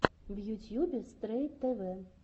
в ютьюбе стрэй тэвэ